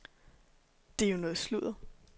Det er jo noget sludder.